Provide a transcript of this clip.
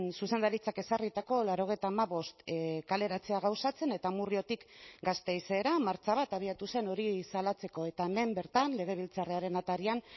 zuzendaritzak ezarritako laurogeita hamabost kaleratzea gauzatzen eta amurriotik gasteizera martxa bat abiatu zen hori salatzeko eta hemen bertan legebiltzarraren atarian